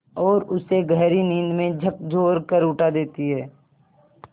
और उसे गहरी नींद से झकझोर कर उठा देती हैं